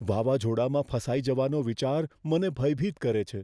વાવાઝોડામાં ફસાઈ જવાનો વિચાર મને ભયભીત કરે છે.